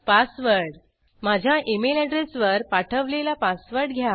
password माझ्या email address वर पाठवलेला पासवर्ड घ्या